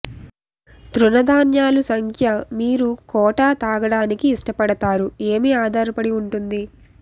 తృణధాన్యాలు సంఖ్య మీరు కోట తాగడానికి ఇష్టపడతారు ఏమి ఆధారపడి ఉంటుంది